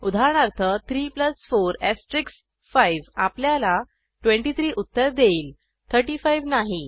उदाहरणार्थ 3 4 5 आपल्याला 23 उत्तर देईल 35 नाही